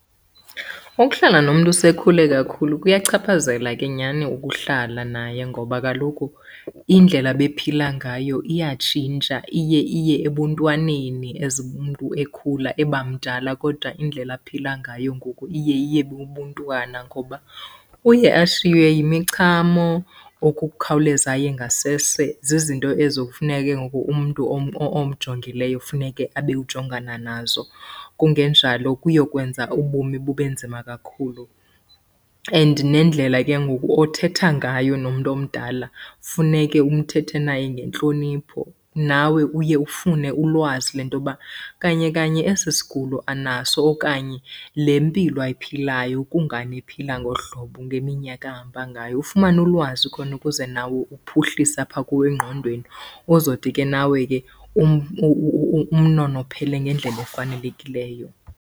Ukuhlala nomntu osekhule kakhulu kuyachaphazela ke nyhani ukuhlala naye ngoba kaloku indlela ebephila ngayo iyatshintsha iye iye ebuntwaneni as umntu ekhula eba mdala. Kodwa indlela aphila ngayo ngoku iye iye bubuntwana ngoba uye ashiywe yimichamo, ukukhawuleza aye ngasese. Zizinto ezo kufuneke ke ngoku umntu omjongileyo funeke abe ujongana nazo, kungenjalo kuyokwenza ubomi bube nzima kakhulu. And nendlela ke ngoku othetha ngayo nomntu omdala, funeke uthethe naye ngentlonipho. Nawe uye ufune ulwazi lento yoba kanye kanye esi sigulo anaso okanye le mpilo ayiphilayo kungani ephila ngolu hlobo ngeminyaka ahamba ngayo. Ufumane ulwazi khona ukuze nawe uphuhlise apha kuwe engqondweni, uzothi ke nawe ke umnonophele ngendlela efanelekileyo.